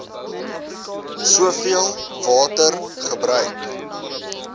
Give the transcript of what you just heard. soveel water gebruik